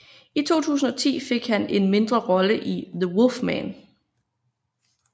I 2010 fik han en mindre rolle i The Wolfman